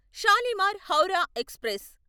Shalimar Howrah express